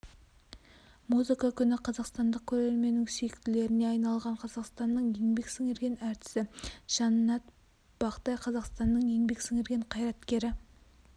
музыка күні қазақстандық көрерменнің сүйіктілеріне айналған қазақстанның еңбек сіңірген әртісі жаннат бақтай қазақстанның еңбек сіңірген қайраткері